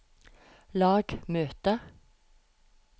lag møte